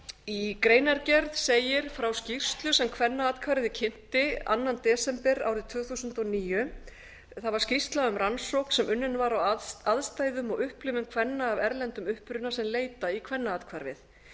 í greinargerð segir frá skýrslu sem kvennaathvarfið kynnti annan desember árið tvö þúsund og níu það var skýrsla um rannsókn sem unnin var á aðstæðum og upplifun kvenna af erlendum uppruna sem leita í kvennaathvarfið